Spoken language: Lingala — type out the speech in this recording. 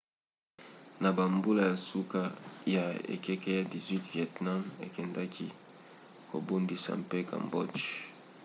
na bambula ya suka ya ekeke ya 18 vietnam ekendaki kobundisa mpe cambodge